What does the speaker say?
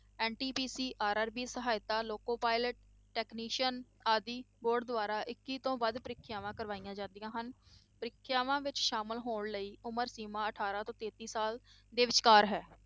NTPCRRB ਸਹਾਇਤਾ loco pilot technician ਆਦਿ board ਦੁਆਰਾ ਇੱਕੀ ਤੋਂ ਵੱਧ ਪ੍ਰੀਖਿਆਵਾਂ ਕਰਵਾਈਆਂ ਜਾਂਦੀਆਂ ਹਨ, ਪ੍ਰੀਖਿਆਵਾਂ ਵਿੱਚ ਸ਼ਾਮਲ ਹੋਣ ਲਈ ਉਮਰ ਸੀਮਾ ਅਠਾਰਾਂ ਸਾਲ ਤੋਂ ਤੇਤੀ ਸਾਲ ਦੇ ਵਿਚਕਾਰ ਹੈ।